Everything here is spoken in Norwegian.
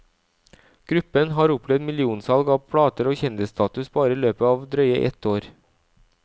Gruppen har opplevd millionsalg av plater og kjendisstatus bare i løpet av drøye ett år.